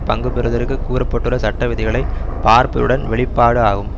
பங்கு பெறுவதற்கு கூற பட்டுள்ள சட்ட விதிகளை பார்ப்பதுடன் வெளிப்பாடு ஆகும்